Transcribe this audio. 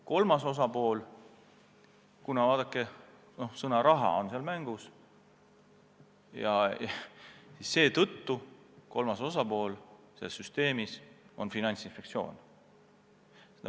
Kolmas osapool selles süsteemis, kuna sõna "raha" on mängus, on Finantsinspektsioon.